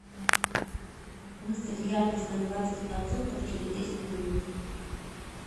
выставь яркость на двадцать процентов через десять минут